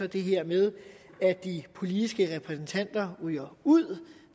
det her med at de politiske repræsentanter ryger ud